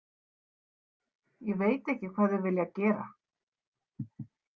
Ég veit ekki hvað þau vilja gera.